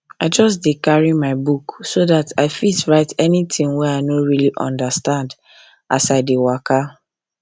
i just carry my book so that i fit write anything wey i no really understand as i dey waka